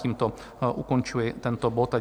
Tímto ukončuji tento bod.